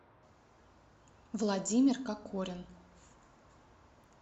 владимир какорин